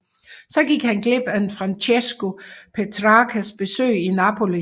Så han gik glip af Francesco Petrarcas besøg i Napoli